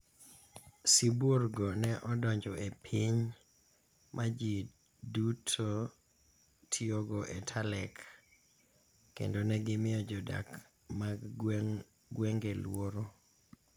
Sibuorgo ne odonjo e piny ma ji duto tiyogo e Talek, kendo ne gimiyo jodak mag gwenge luoro.